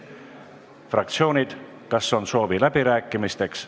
Fraktsioonid, kas on soovi läbi rääkida?